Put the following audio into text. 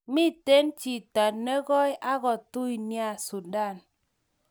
Miten chiyto nekoi ak ko tui nea sudan